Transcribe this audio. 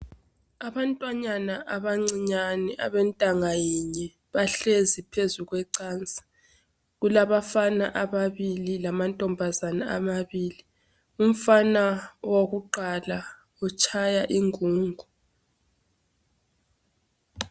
Abantwanyana abacinyane abentanga yinye bahlezi phezu kwecansi. Kulabafana ababili lamantombazana amabili. Umfana wokuqala utshaya ingungu.